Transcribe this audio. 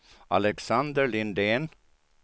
Alexander Lindén